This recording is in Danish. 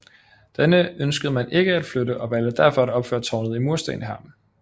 Denne ønskede man ikke at flytte og valgte derfor at opføre tårnet i mursten her